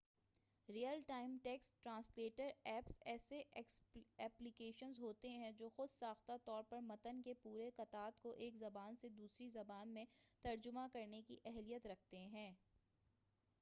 real time text translator apps ایسے applications ہوتے ہیں جو خود ساختہ طور پر متن کے پورے قطعات کو ایک زبان سے دوسری زبان میں ترجمہ کرنے کی اہلیت رکھتے ہیں